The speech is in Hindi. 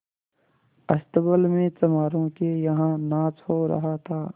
अस्तबल में चमारों के यहाँ नाच हो रहा था